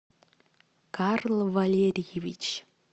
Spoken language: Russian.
карл валерьевич